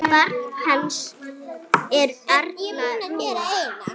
Barn hans er Arna Rún.